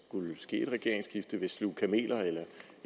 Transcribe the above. skulle ske et regeringsskifte vil sluge nogle kameler eller